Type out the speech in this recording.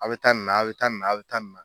A bɛ taa nin na a bɛ taa nin na a bɛ taa nin na.